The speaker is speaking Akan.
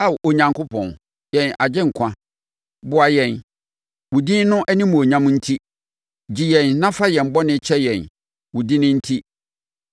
Ao Onyankopɔn yɛn Agyenkwa, boa yɛn, wo din no animuonyam nti; gye yɛn na fa yɛn bɔne kyɛ yɛn wo din enti.